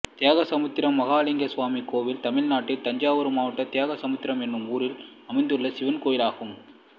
தியாகசமுத்திரம் மகாலிங்க சுவாமி கோயில் தமிழ்நாட்டில் தஞ்சாவூர் மாவட்டம் தியாகசமுத்திரம் என்னும் ஊரில் அமைந்துள்ள சிவன் கோயிலாகும்